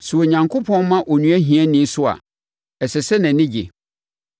Sɛ Onyankopɔn ma onua hiani so a, ɛsɛ sɛ nʼani gye,